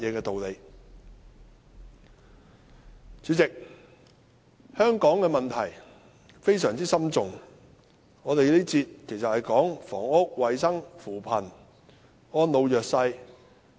代理主席，香港有多項非常深重的問題，而我們這個環節討論的是房屋、衞生、扶貧和安老弱勢。